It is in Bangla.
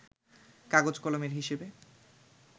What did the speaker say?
কাগজ-কলমের হিসেবে